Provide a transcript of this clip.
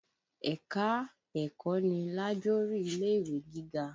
Ẹ̀ka-ẹ̀kọ́ ni lájorí ilé-ìwé gígá